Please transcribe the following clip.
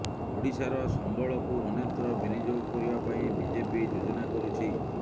ଓଡିଶାର ସମ୍ବଳକୁ ଅନ୍ୟତ୍ର ବିନିଯୋଗ କରିବା ପାଇଁ ବିଜେପି ଯୋଜନା କରୁଛି